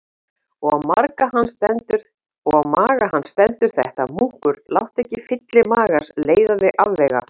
Og á maga hans stendur þetta: Munkur, láttu ekki fylli magans leiða þig afvega.